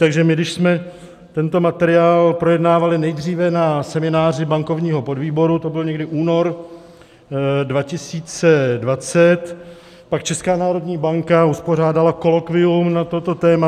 Takže my, když jsme tento materiál projednávali nejdříve na semináři bankovního podvýboru - to byl někdy únor 2020 - pak Česká národní banka uspořádala kolokvium na toto téma.